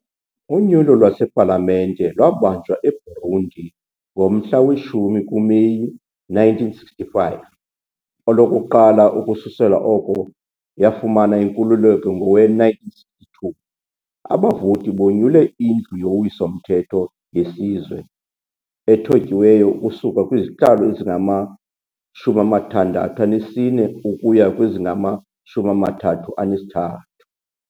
Unyulo lwasePalamente lwabanjwa eBurundi ngomhla we-10 kuMeyi 1965, olokuqala ukususela oko yafumana inkululeko ngowe-1962. Abavoti bonyule iNdlu yoWiso-mthetho yeSizwe, ethotyiweyo ukusuka kwizihlalo ezingama-64 ukuya kwezingama-33.